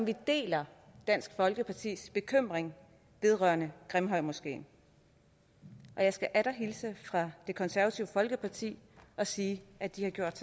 deler dansk folkepartis bekymring vedrørende grimhøjmoskeen og jeg skal atter hilse fra det konservative folkeparti og sige at de har gjort